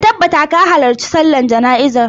Ka tabbata ka halarci sallar jana'iza!